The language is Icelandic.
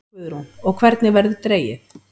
Guðrún: Og hvenær verður dregið?